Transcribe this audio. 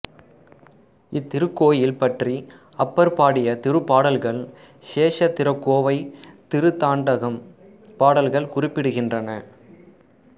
இத்திருக்கோயில் பற்றி அப்பர் பாடிய திருப்பாடல்கள் க்ஷேத்திரக்கோவைதிருத்தாண்டகம் பாடல்கள் குறிப்பிடுகின்றன